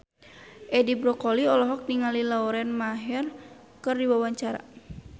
Edi Brokoli olohok ningali Lauren Maher keur diwawancara